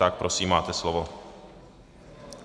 Tak prosím, máte slovo.